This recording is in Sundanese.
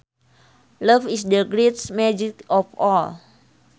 Love is the greatest magic of all